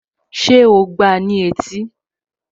Ṣé o gbáa ní etí?